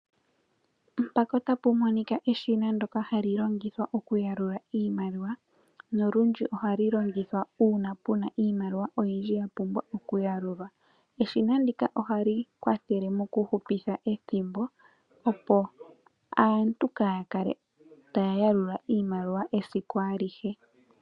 Mpaka otapu monika eshina ndyoka hali longithwa okuyalula iimaliwa noludji ohali longithwa uuna puna iimaliwa oyidji yapumbwa okuyalulwa. Eshina ndika ohali kwathele mokuhupitha ethimbo opo aantu kaaya kale taya yalula iimaliwa esiku alihe.